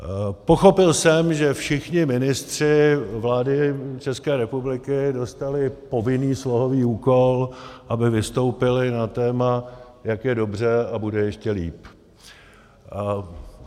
Pochopil jsem, že všichni ministři vlády České republiky dostali povinný slohový úkol, aby vystoupili na téma, jak je dobře a bude ještě líp.